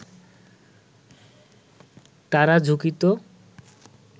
তারা ঝুঁকিত